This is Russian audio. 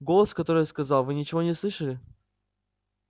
голос который я сказал вы ничего не слышали